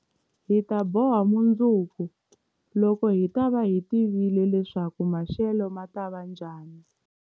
Hi ta boha mundzuku, loko hi ta va hi tivile leswaku maxelo ma ta va njhani.